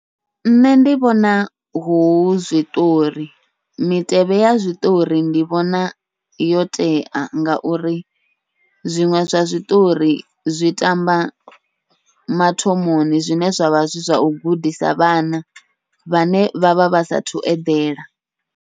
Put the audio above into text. Nṋe ndi vhona hu zwiṱori mitevhe ya zwiṱori ndi vhona yo tea, ngauri zwiṅwe zwa zwiṱori zwi tamba mathomoni zwine zwavha zwi zwau gudisa vhana vhane vha vha vha sathu eḓela.